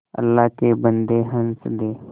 अल्लाह के बन्दे हंस दे